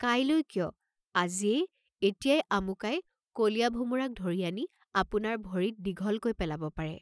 কাইলৈ কিয়, আজিয়েই এতিয়াই আমুকাই কলীয়া ভোমোৰাক ধৰি আনি আপোনাৰ ভৰিত দীঘলকৈ পেলাব পাৰে।